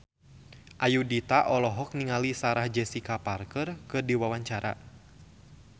Ayudhita olohok ningali Sarah Jessica Parker keur diwawancara